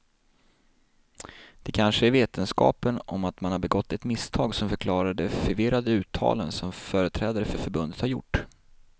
Det kanske är vetskapen om att man har begått ett misstag som förklarar de förvirrade uttalanden som företrädare för förbundet har gjort.